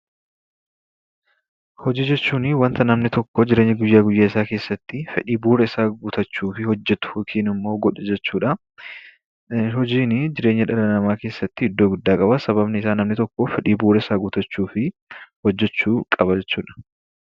Hojii jechuunii wanta namni tokko jireenya guyyaa guyyaasaa keessattii fedhii bu'uurasaa guuttachuufi hojjetu yookaanimmoo godhu jechuudhaa. Hojiinii jireenya dhala namaa keessatti iddoo guddaa qabaa. Sababni isaa namni tokko fedhii bu'uurasaa guuttachuufii hojjechuu qaba jechuudha.